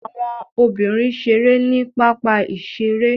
Àwọn obìnrin ṣeré ní pápá-ìṣeré.